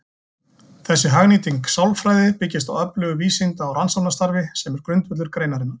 Þessi hagnýting sálfræði byggist á öflugu vísinda- og rannsóknarstarfi sem er grundvöllur greinarinnar.